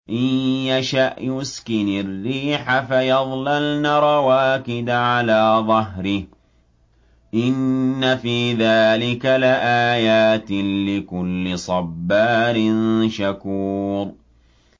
إِن يَشَأْ يُسْكِنِ الرِّيحَ فَيَظْلَلْنَ رَوَاكِدَ عَلَىٰ ظَهْرِهِ ۚ إِنَّ فِي ذَٰلِكَ لَآيَاتٍ لِّكُلِّ صَبَّارٍ شَكُورٍ